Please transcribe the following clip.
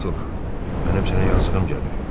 mənim sənə yazığım gəlir,